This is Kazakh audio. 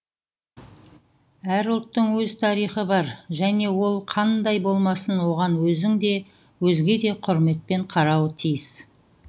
әр ұлттың өз тарихы бар және ол қандай болмасын оған өзің де өзге де құрметпен қарауы тиіс